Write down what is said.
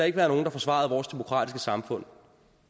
ikke være nogen der forsvarede vores demokratiske samfund